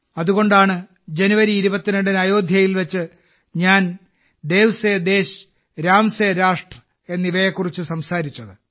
അതുകൊണ്ടാണ് ജനുവരി 22 ന് അയോധ്യയിൽ വെച്ച് ഞാൻ ദേവ് സെ ദേശ് രാം സെ രാഷ്ട്ര് എന്നിവയെക്കുറിച്ച് സംസാരിച്ചത്